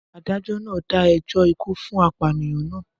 Adájọ́ náà dá ẹjọ́ ikú fún apànìyàn náà